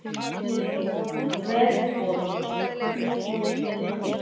Verður vöxturinn jafn mikill áfram og í hvaða geirum?